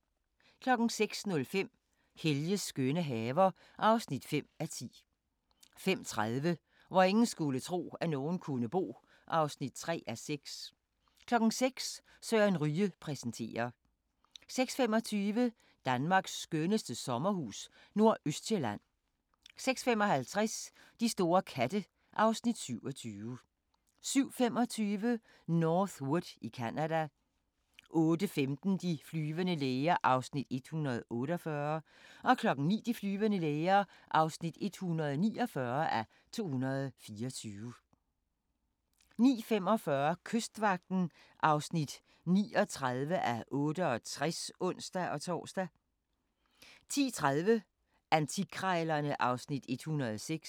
05:05: Helges skønne haver (5:10) 05:30: Hvor ingen skulle tro, at nogen kunne bo (3:6) 06:00: Søren Ryge præsenterer 06:25: Danmarks skønneste sommerhus – Nordøstsjælland 06:55: De store katte (Afs. 27) 07:25: North Wood i Canada 08:15: De flyvende læger (148:224) 09:00: De flyvende læger (149:224) 09:45: Kystvagten (39:68)(ons-tor) 10:30: Antikkrejlerne (Afs. 106)